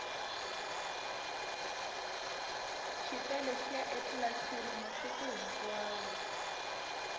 xipele xiya etlilasini masiku hinkwavo